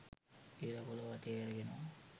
ඉර පොලව වටේ කැරකෙනවා